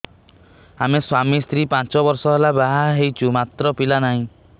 ଆମେ ସ୍ୱାମୀ ସ୍ତ୍ରୀ ପାଞ୍ଚ ବର୍ଷ ହେଲା ବାହା ହେଇଛୁ ମାତ୍ର ପିଲା ନାହିଁ